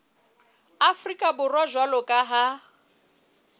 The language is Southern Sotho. afrika borwa jwalo ka ha